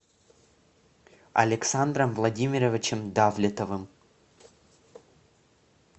александром владимировичем давлетовым